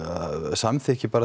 samþykki